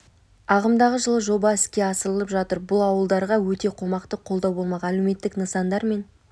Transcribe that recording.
ағымдағы жылы жоба іске асырылып жатыр бұл ауылдарға өте қомақты қолдау болмақ әлеуметтік нысандар мен